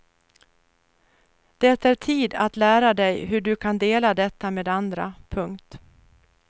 Det är tid att lära dig hur du kan dela detta med andra. punkt